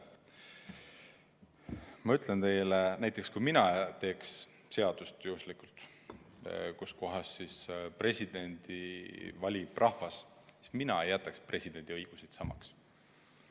Ma ütlen teile, et kui mina peaksin tegema seaduse, mille kohaselt presidendi valib rahvas, siis mina ei jätaks presidendi õigusi samaks.